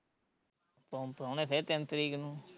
ਪੋ ਪਰਾਉਣੇ ਫੇਰ ਤਿੰਨ ਤਰੀਕ ਨੂੰ